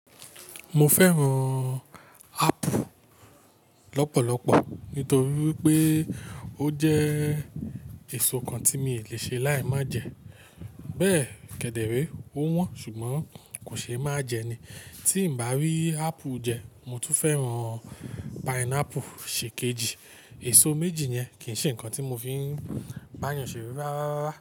Mo fẹ́ràn ápù lọ́pọ̀lọpọ̀ nítorí pé ó jẹ́ èso kan tí mi lè ṣe láì máa jẹ. Bẹ́ẹ̀ kẹ̀dẹ̀ rẹ ó wọ́n ṣùgbọ́n kò ṣe é má jẹ ni. Tí n bá rí ápù jẹ, mo tún fẹ́ràn pineapple ṣe kejì. Èso méjì yẹn kì í ṣe nǹkan tí mo fi ń bá yàn ṣere rárárara.